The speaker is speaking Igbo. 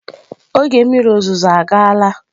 Oge mmiri ozuzo agaala.